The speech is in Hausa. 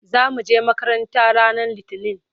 Za mu je makaranta ranar Litinin.